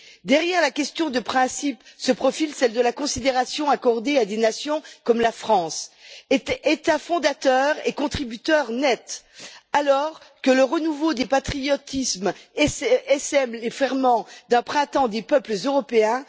Derrière la question de principe se profile celle de la considération accordée à des nations comme la France, État fondateur et contributeur net, alors que le renouveau des patriotismes essaime les ferments d'un printemps des peuples européens.